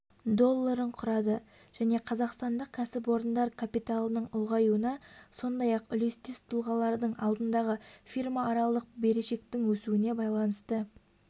долларын құрады және қазақстандық кәсіпорындар капиталының ұлғаюына сондай-ақ үлестес тұлғалардың алдындағы фирмааралық берешектің өсуіне байланысты